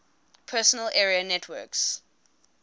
personal area networks